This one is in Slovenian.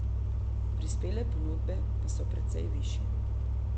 Prispele ponudbe pa so precej višje.